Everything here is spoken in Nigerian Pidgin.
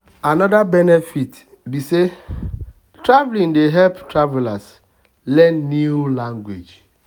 another benefit be benefit be say traveling dey help travelers learn new language.